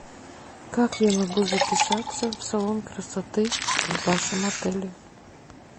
как я могу записаться в салон красоты в вашем отеле